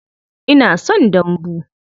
Ina son dambu.